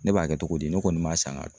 Ne b'a kɛ togo di ne kɔni m'a san ka